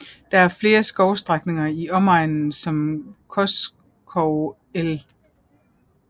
Der er flere skovstrækninger i omegnen som Koskov el